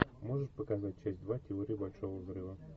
можешь показать часть два теория большого взрыва